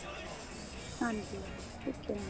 ਹਾਂਜੀ ਠੀਕ ਏ mam